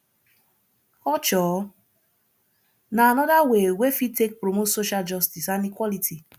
culture na anoda way wey fit take promote social justice and equality